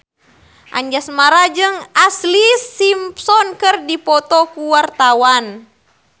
Anjasmara jeung Ashlee Simpson keur dipoto ku wartawan